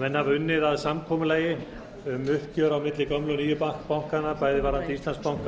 menn hafa unnið að samkomulagi um uppgjör á milli gömlu og nýju bankanna það er íslandsbanka